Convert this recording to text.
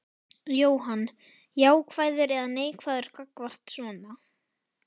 Jóhann: Jákvæður eða neikvæður gagnvart svona?